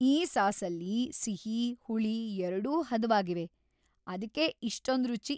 ಈ ಸಾಸಲ್ಲಿ ಸಿಹಿ, ಹುಳಿ ಎರ್ಡೂ ಹದವಾಗಿವೆ. ಅದ್ಕೇ ಇಷ್ಟೊಂದ್ ರುಚಿ!